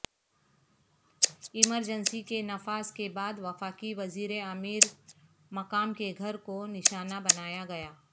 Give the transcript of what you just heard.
emergency کے نفاذ کے بعد وفاقی وزیر امیر مقام کے گھر کو نشانہ بنایا گیا